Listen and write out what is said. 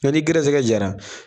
Nka n'i gɛrɛsɛgɛ diyara